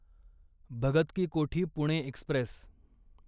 Bhagat ki Kothi Pune Express